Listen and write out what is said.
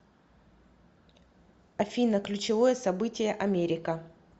афина ключевое событие америка